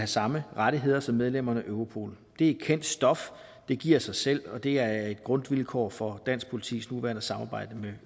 samme rettigheder som medlemmerne af europol det er kendt stof det giver sig selv og det er et grundvilkår for dansk politis nuværende samarbejde med